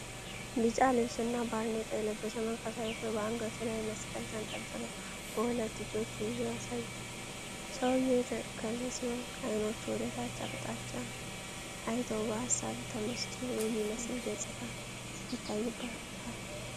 ቢጫ ልብስ እና ባርኔጣ የለበሰ መንፈሳዊ ሰው በአንገቱ ላይ መስቀል ተንጠልጥሎ በሁለት እጆቹ ይዞ ያሳያል። ሰውየው የተከዘ ሲሆን፣ አይኖቹ ወደ ታች አቅጣጫ አይተው በሀሳብ ተመስጦ የሚመስል ገጽታ ይታይበታል።